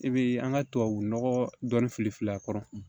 I bi an ka tubabunɔgɔ dɔɔni fili fili a kɔrɔ